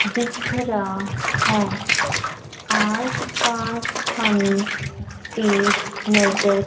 दिख रहा है आसपास हमें पेड़ नजर--